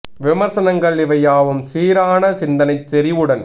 விமர்சனங்கள் இவை யாவும் சீரான சிந்தனை செறிவுடன்